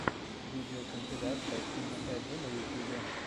видеокомпиляция тима эджа на ютьюбе